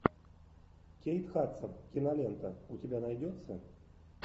кейт хадсон кинолента у тебя найдется